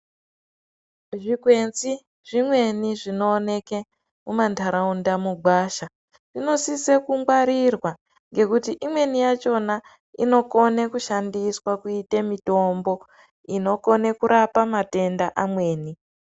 Zvikwenzi zvimweni zvinooke mumantaraunda mugwasha inosise kungwarirwa nekuti imweni yachona inokone kushandiswa kuite mitombo inokone kurapa matenda amweni .